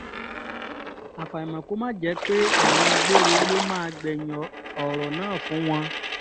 àfàìmọ̀ kó má jẹ́ pé ẹ̀wọ̀n gbére ló máa gbẹ̀yìn ọ̀rọ̀ náà fún wọn